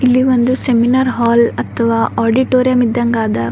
ಇಲ್ಲಿ ಒಂದು seminar hall ಅಥವ ಆಡಿಟೋರಿಯಂ ಇದ್ಗ್ ಅದ.